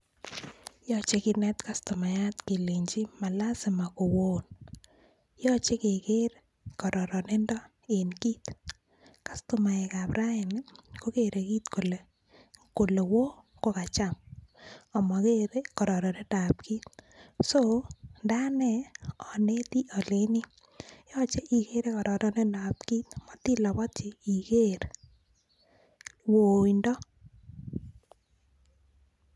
Yoche kinet kastomayat kelenji ma lasima kowon, yoche keker kororonindo en kiit, kastomaek ab raini kokere kiit kole won kokacham amokere kororonindab kiit, ndo ane aneti alenjini yoche ikere kororonindab kiit amoti labotyi iker woindo.